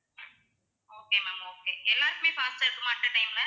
okay ma'am okay எல்லாருக்குமே fast ஆ இருக்குமா at a time ல